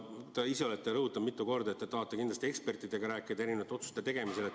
Te ise olete rõhutanud mitu korda, et te tahate kindlasti ekspertidega rääkida enne erinevate otsuste tegemist.